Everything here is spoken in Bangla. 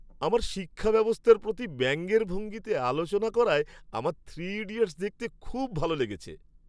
আমাদের শিক্ষাব্যবস্থার প্রতি ব্যঙ্গের ভঙ্গিতে আলোচনা করায় আমার 'থ্রি ইডিয়টস" দেখতে খুব ভাল লেগেছে।